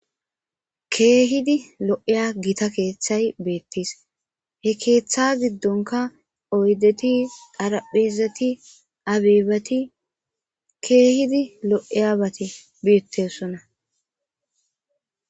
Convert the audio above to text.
Keehidi lo'eya gita keeththay beettis he keeththa giddonka oydeti daraphezati abeebati keehidi lo'eyabati biettessona.